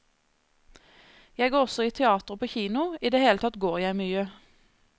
Jeg går også i teater og på kino, i det hele tatt går jeg mye.